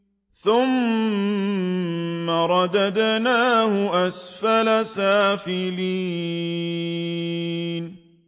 ثُمَّ رَدَدْنَاهُ أَسْفَلَ سَافِلِينَ